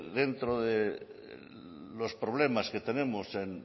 dentro de los problemas que tenemos en